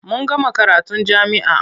Mun gama karatun jami'a.